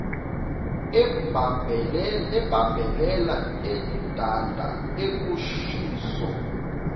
ebambelela edanda ukushiso